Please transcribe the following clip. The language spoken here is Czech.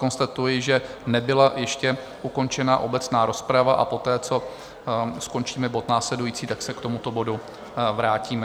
Konstatuji, že nebyla ještě ukončena obecná rozprava, a poté, co skončíme bod následující, tak se k tomuto bodu vrátíme.